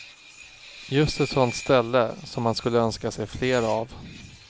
Just ett sånt ställe som man skulle önska sig fler av.